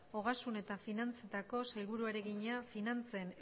ogasun eta finantzetako sailburuari egina finantzen